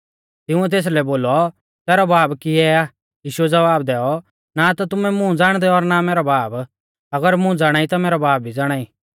तिंउऐ तेसलै बोलौ तैरौ बाब किऐ आ यीशुऐ ज़वाब दैऔ ना ता तुमै मुं ज़ाणदै और ना मैरौ बाब अगर मुं ज़ाणाई ता मैरौ बाब भी ज़ाणाई